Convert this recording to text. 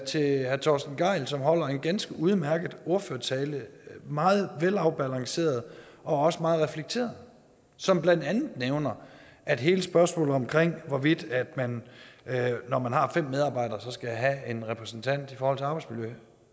til herre torsten gejl som holder en ganske udmærket ordførertale meget velafbalanceret og også meget reflekteret som blandt andet nævner at hele spørgsmålet om hvorvidt man når man har fem medarbejdere skal have en repræsentant i forhold til arbejdsmiljø